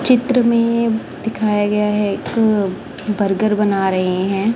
चित्र में दिखाया गया है एक बर्गर बना रहे हैं।